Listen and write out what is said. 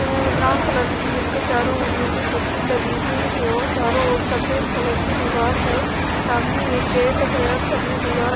अ-अ brown colour की जिसके चारों ओर नीली पट्टी लगी हुई है और चारों ओर सफेद कलर की दीवाल है सामने एक गेट है और सब में दीवार --